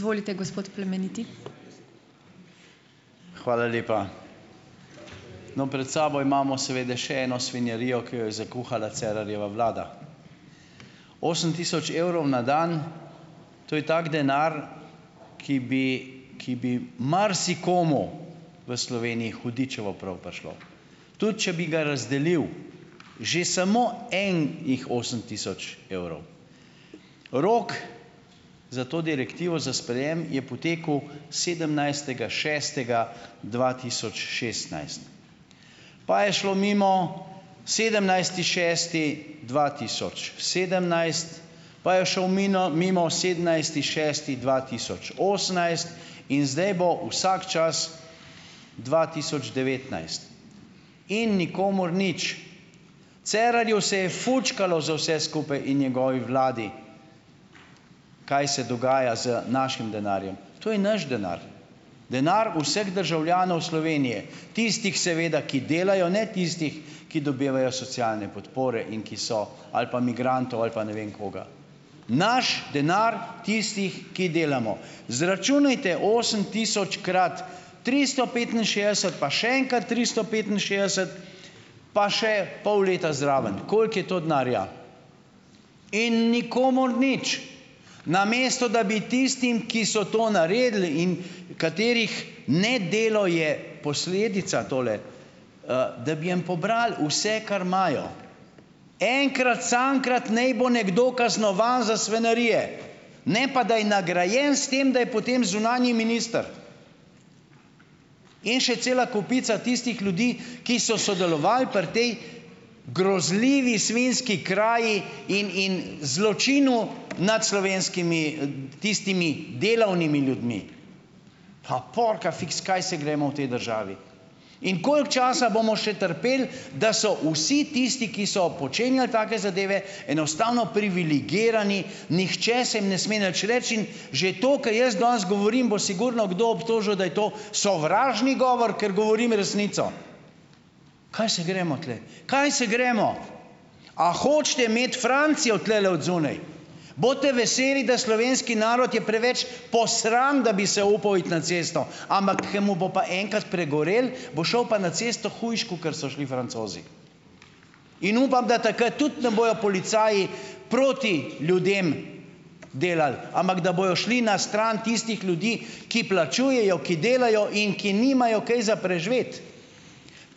Hvala lepa! No, pred sabo imamo seveda še eno svinjarijo, ki jo je zakuhala Cerarjeva vlada. Osem tisoč evrov na dan, to je tak denar, ki bi ki bi marsikomu v Sloveniji hudičevo prav prišel, tudi če bi ga razdelil že samo en jih osem tisoč evrov. Rok za to direktivo, za sprejem, je potekel sedemnajstega šestega dva tisoč šestnajst. Pa je šlo mimo, sedemnajsti šesti dva tisoč sedemnajst, pa je šel minil mimo sedemnajsti šesti dva tisoč osemnajst in zdaj bo vsak čas dva tisoč devetnajst, ni nikomur nič. Cerarju se je fučkalo za vse skupaj in njegovi vladi, kaj se dogaja z našim denarjem. To je naš denar. Denar vseh državljanov Slovenije, tistih seveda, ki delajo, ne tistih, ki dobivajo socialne podpore in ki so ali pa migrantov ali pa ne vem koga. Naš denar, tistih, ki delamo. Izračunajte, osemtisočkrat tristo petinšestdeset pa še enkrat tristo petinšestdeset, pa še pol leta zraven, koliko je to denarja. In nikomur nič, namesto da bi tistim, ki so to naredili in katerih nedelo je posledica tole, da bi jim pobrali vse, kar imajo, enkrat samkrat ne bo nekdo kaznovan za svinjarije, ne pa, da je nagrajen s tem, da je potem zunanji minister, in še cela kopica tistih ljudi, ki so sodelovali pri tej grozljivi svinjski kraji in in zločinu nad slovenskimi, tistimi delavnimi ljudmi. Pa porkafiks, kaj se gremo v tej državi. In koliko časa bomo še trpeli, da so vsi tisti, ki so počenjali take zadeve, enostavno privilegirani, nihče se jim ne sme nič reči in že to, kar jaz danes govorim, bo sigurno kdo obtožil, da je to sovražni govor, ker govorim resnico. Kaj se gremo tule? Kaj se gremo? A hočete imeti Francijo tulele odzunaj? Bodite veseli, da slovenski narod je preveč posran, da bi se upal iti na cesto, ampak ko mu bo pa enkrat pregorelo, bo šel pa na cesto hujše, kakor so šli Francozi. In upam, da takrat tudi ne bojo policaji proti ljudem delali, ampak da bojo šli na stran tistih ljudi, ki plačujejo, ki delajo in ki nimajo kaj za preživeti.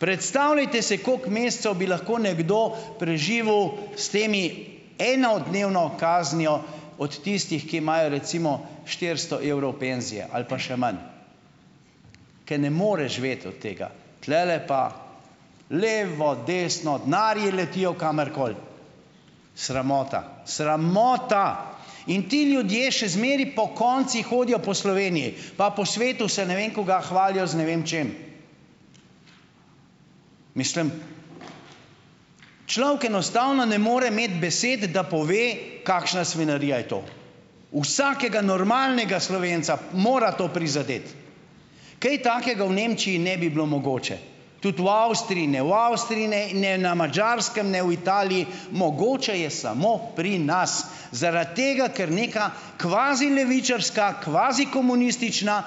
Predstavljajte se, kako mesecev bi lahko nekdo preživel s temi enodnevno kaznijo od tistih, ki imajo recimo štiristo evrov penzije ali pa še manj, ker ne more živeti od tega, tulele pa, levo, desno, denarji letijo kamorkoli. Sramota! Sramota! In ti ljudje še zmeraj pokonci hodijo po Sloveniji pa po svetu, se, ne vem, kaj hvalijo z ne vem čim. Mislim, človek enostavno ne more imeti besede, da pove, kakšna svinjarija je to. Vsakega normalnega Slovenca mora to prizadeti. Kaj takega v Nemčiji ne bi bilo mogoče, tudi u Avstriji ne. V Avstriji ne in ne na Madžarskem, ne v Italiji, mogoče je samo pri nas, zaradi tega, ker neka kvazilevičarska, kvazikomunistična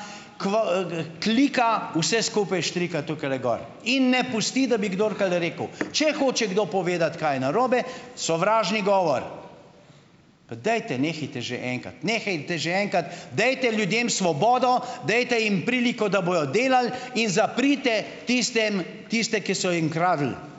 klika vse skupaj štrika tukajle gor in ne pusti, da bi kdor kada rekel. Če hoče kdo povedati, kaj je narobe, sovražni govor. Pa dajte, nehajte že enkrat. Nehajte že enkrat, dajte ljudem svobodo, dajte jim priliko, da bojo delali, in zaprite tistem tiste, ki so jim kradli.